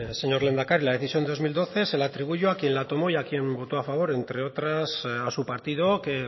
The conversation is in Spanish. señor lehendakari la decisión del dos mil doce se le atribuyo a quien la tomó y a quien votó a favor entre otras a su partido que